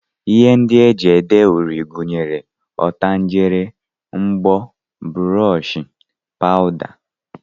Ihe ndị e ji ede uri gụnyere ọtangele, mbọ, brọọshị, pawụda